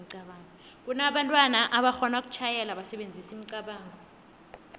kunabantu aboxhona ukutjhayela basebenzisa imicabango